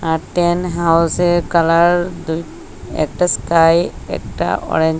আর tent হাউসের colour দুই একটা স্কাই একটা অরেঞ্জ ।